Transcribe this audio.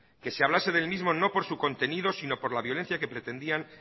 que se hablase del mismo no por su contenido sino por la violencia que pretendían